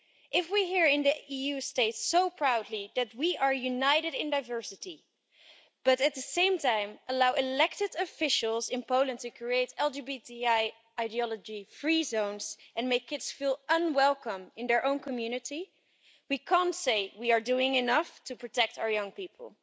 If we here in the EU state so proudly that we are united in diversity, but at the same time allow elected officials in Poland to create LGBTI ideology free zones and make feel kids feel unwelcome in their own community, we can't say we are doing enough to protect our young people.